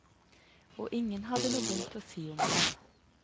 Og ingen har noe vondt å si om ham.